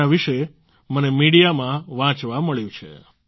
જેના વિશે મને મીડિયામાં વાંચવા મળ્યું છે